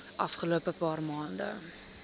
afgelope paar maande